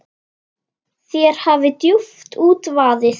Þér hafi djúpt út vaðið.